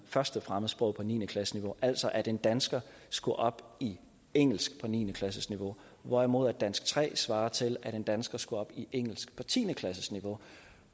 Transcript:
første fremmedsprog på niende klasseniveau altså at en dansker skulle op i engelsk på niende klasseniveau hvorimod dansk tre svarer til at en dansker skulle op i engelsk på tiende klasseniveau